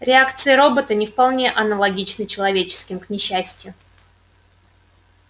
реакции робота не вполне аналогичны человеческим к несчастью